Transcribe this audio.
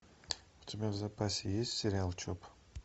у тебя в запасе есть сериал чоп